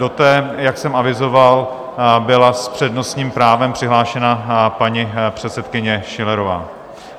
Do té, jak jsem avizoval, byla s přednostním právem přihlášena paní předsedkyně Schillerová.